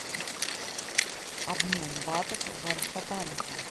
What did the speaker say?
обмен батов в альфа банке